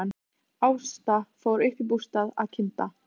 Ásta fór upp í bústað að kynda.